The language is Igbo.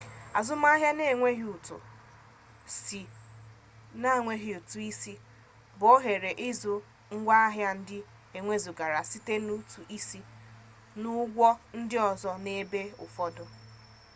azụmaahịa na-enweghị ụtụ isi bụ ohere ịzụ ngwaahịa ndị ewezụgara site na ụtụ isi n'ụgwọ ndị ọzọ n'ebe ụfọdụ